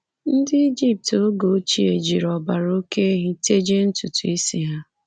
Ndị Ijipt oge ochie jiri ọbara oké ehi tejie ntutu isi ha.